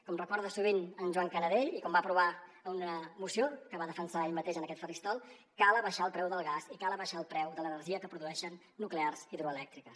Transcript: com recorda sovint en joan canadell i com va aprovar a una moció que va defensar ell mateix en aquest faristol cal abaixar el preu del gas i cal abaixar el preu de l’energia que produeixen nuclears i hidroelèctriques